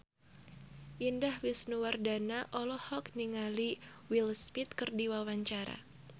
Indah Wisnuwardana olohok ningali Will Smith keur diwawancara